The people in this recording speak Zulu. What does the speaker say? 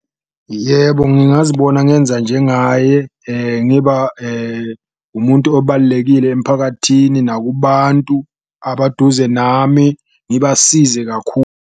Yebo ngingazibona ngenza njengaye ngiba umuntu obalulekile emphakathini nakubantu abaduze nami ngibasize .